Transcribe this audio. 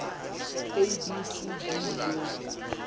a b c d le